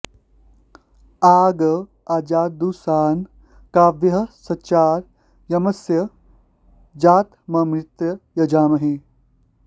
आ गा आ॑जदु॒शना॑ का॒व्यः सचा॑ य॒मस्य॑ जा॒तम॒मृतं॑ यजामहे